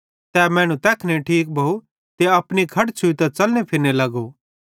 तै मैनू तैखने ठीक भोव ते अपनी खट छ़ुइतां च़लने फिरने लगो